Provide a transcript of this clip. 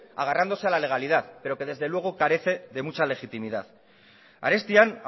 agarrándose a la legalidad pero desde luego carece de mucha legitimidad arestian